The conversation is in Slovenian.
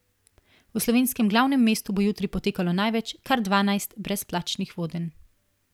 V slovenskem glavnem mestu bo jutri potekalo največ, kar dvanajst, brezplačnih vodenj.